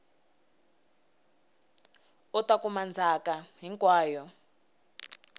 u ta kuma ndzhaka hinkwayo